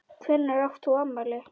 Hvenær átt þú afmæli?